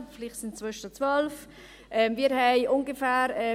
vielleicht sind es inzwischen 12 Mrd. Franken.